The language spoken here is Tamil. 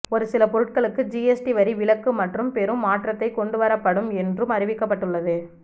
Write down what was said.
ஒரு சில பொருட்களுக்கு ஜிஎஸ்டி வரி விலக்கு மற்றும் பெரும் மாற்றத்தை கொண்டுவரப்படும் என்றும் அறிவிக்கப்பட்டு உள்ளது